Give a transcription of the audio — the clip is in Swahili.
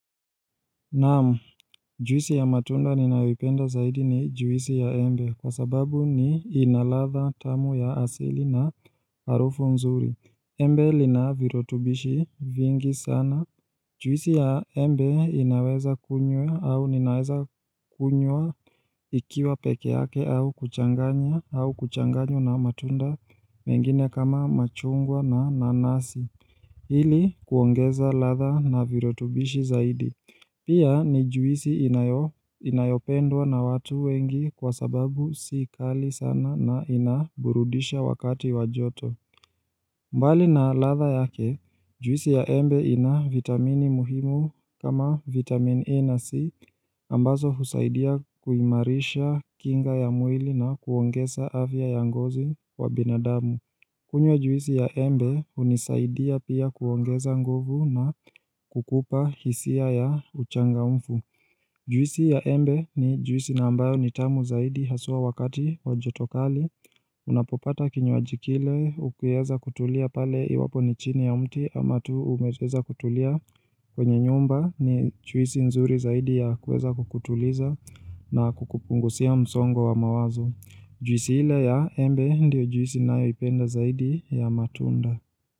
Naam, juisi ya matunda ninayoipenda zaidi ni juisi ya embe kwa sababu ni inaladha tamu ya asili na harufu nzuri. Embe linavirutubishi vingi sana. Juisi ya embe inaweza kunywa au ninaweza kunywa ikiwa peke yake au kuchanganya au kuchanganywa na matunda mengine kama machungwa na nanasi. Hili kuongeza ladha na virutubishi zaidi. Pia ni juisi inayopendwa na watu wengi kwa sababu si kali sana na inaburudisha wakati wajoto. Mbali na ladha yake, juisi ya embe ina vitamini muhimu kama vitamin E na C ambazo husaidia kuimarisha kinga ya mwili na kuongeza afya ya ngozi kwa binadamu. Kunywa ya juisi ya embe hunisaidia pia kuongeza nguvu na kukupa hisia ya uchanga mfu. Juisi ya embe ni juisi na ambayo nitamu zaidi haswa wakati wajotokali. Unapopata kinywaji kile ukiweza kutulia pale iwapo ni chini ya mti ama tu umeweza kutulia. Kwenye nyumba ni juisi nzuri zaidi ya kuweza kukutuliza na kukupunguzia msongo wa mawazo. Juisi ile ya embe ndio juisi ninayoipenda zaidi ya matunda.